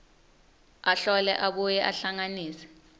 ahlole abuye ahlanganise